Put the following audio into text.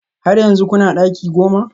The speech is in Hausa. Har yanzu kuna daki goma?